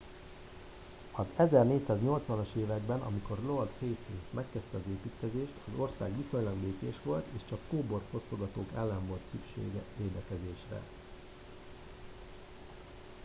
az 1480 as években amikor lord hastings megkezdte az építkezést az ország viszonylag békés volt és csak a kóbor fosztogatók ellen volt szükség védekezésre